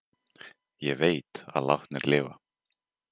Ég veit að látnir lifa.